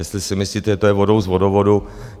Jestli si myslíte, že to jde vodou z vodovodu...